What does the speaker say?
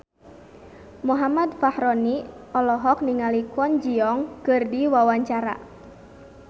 Muhammad Fachroni olohok ningali Kwon Ji Yong keur diwawancara